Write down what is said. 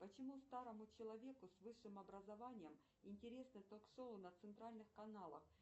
почему старому человеку с высшим образованием интересны ток шоу на центральных каналах